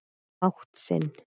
mátt sinn.